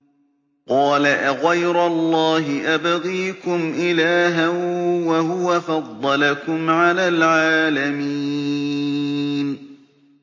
قَالَ أَغَيْرَ اللَّهِ أَبْغِيكُمْ إِلَٰهًا وَهُوَ فَضَّلَكُمْ عَلَى الْعَالَمِينَ